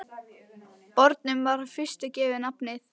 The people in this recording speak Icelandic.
Bornum var í fyrstu gefið nafnið